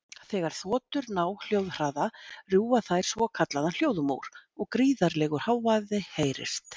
Þegar þotur ná hljóðhraða rjúfa þær svokallaðan hljóðmúr og gríðarlegur hávaði heyrist.